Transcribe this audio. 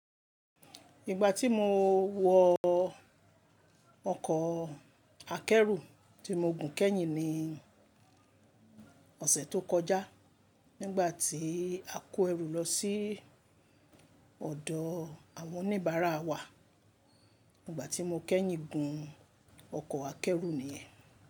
Ìgbà tí mo wọ ọkọ̀ akẹ́rù tí mo gùn kẹ́yìn ní ọ̀sẹ̀ tó kọjá nígbà tí a kó ẹrù lọ sí ọ̀dọ̀ àwọn oníbàárà wa, nígbà tí mo kẹ́yìn gun ọkọ̀ akẹ́rù ni.